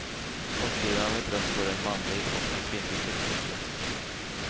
I kortsidan av ett rum står en manlig och en kvinnlig skyltdocka.